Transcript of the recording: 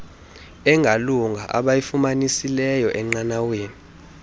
engalunga abayifumanisileyo enqanaweni